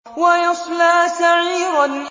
وَيَصْلَىٰ سَعِيرًا